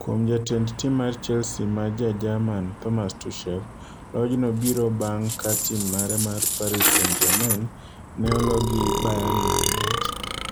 Kuom jatend tim mar Chelsea ma Ja-Jerman Thomas Tuchel lojno biro bang' ka tim mare mar Paris St Germain ne oloo gi Bayern Munich